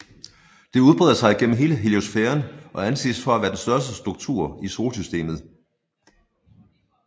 Det udbreder sig gennem hele heliosfæren og anses for at være den største struktur i solsystemet